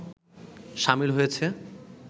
সামিল হয়েছে